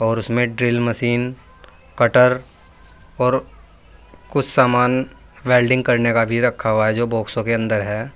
और उसमें drill machine cutter और कुछ सामान वेल्डिंग करने का भी रखा हुआ है जो बाक्सों के अंदर है।